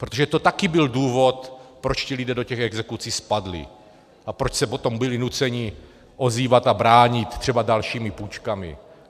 Protože to taky byl důvod, proč ti lidé do těch exekucí spadli a proč se potom byli nuceni ozývat a bránit třeba dalšími půjčkami.